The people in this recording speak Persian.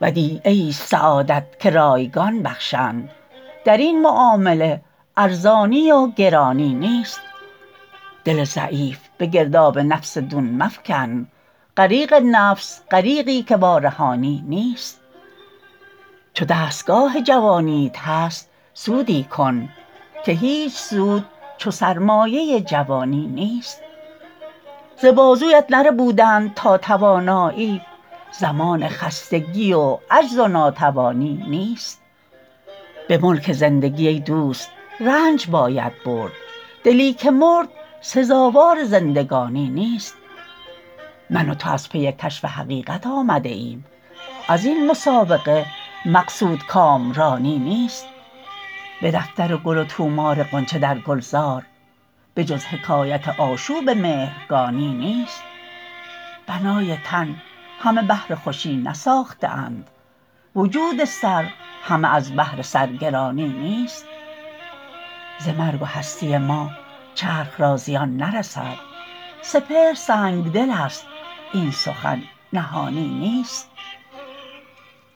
ودیعه ایست سعادت که رایگان بخشند درین معامله ارزانی و گرانی نیست دل ضعیف بگرداب نفس دون مفکن غریق نفس غریقی که وارهانی نیست چو دستگاه جوانیت هست سودی کن که هیچ سود چو سرمایه جوانی نیست ز بازویت نربودند تا توانایی زمان خستگی و عجز و ناتوانی نیست به ملک زندگی ای دوست رنج باید برد دلی که مرد سزاوار زندگانی نیست من و تو از پی کشف حقیقت آمده ایم ازین مسابقه مقصود کامرانی نیست به دفتر گل و طومار غنچه در گلزار به جز حکایت آشوب مهرگانی نیست بنای تن همه بهر خوشی نساخته اند وجود سر همه از بهر سرگرانی نیست ز مرگ و هستی ما چرخ را زیان نرسد سپهر سنگدل است این سخن نهانی نیست